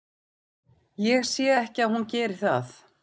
Ég sé ekki að hún geri það.